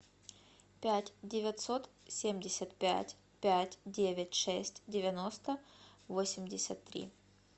пять девятьсот семьдесят пять пять девять шесть девяносто восемьдесят три